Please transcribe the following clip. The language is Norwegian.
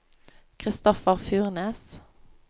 Kristoffer Furnes